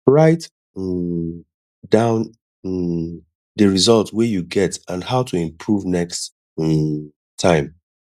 write um down um di result wey you get and how to improve next um time